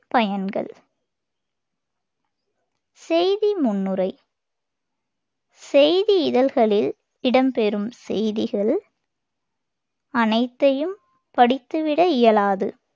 பயன்கள் செய்தி முன்னுரை செய்தி இதழ்களில் இடம் பெறும் செய்திகள் அனைத்தையும் படித்துவிட இயலாது.